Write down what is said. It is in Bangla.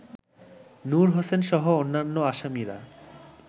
নূর হোসেনসহ অন্যান্য আসামিরা